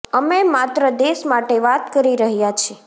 અમે માત્ર દેશ માટે વાત કરી રહ્યા છે